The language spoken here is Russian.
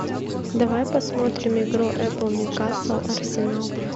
давай посмотрим игру апл ньюкасл арсенал